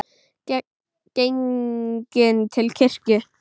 Genginn til kirkju.